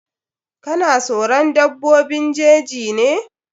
Ka na soron dabbobin jeji ne?